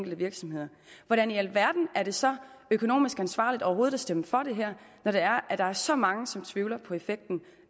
virksomheder hvordan i alverden er det så økonomisk ansvarligt overhovedet at stemme for det her når der er så mange som tvivler på effekten